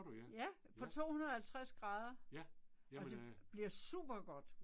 Ja. på 250 grader. Og det bliver super godt